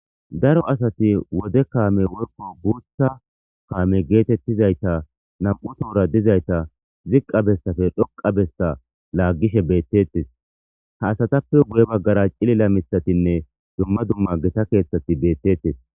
Daro asati wode kaame worko buutha kaame geetettizayta nam7u toora dizayta ziqqa bessafe dhoqa bessa laaggishe beettettes ha asatappe guye baggara cilila mithatinne dumma dumma geta keeththati beettettes.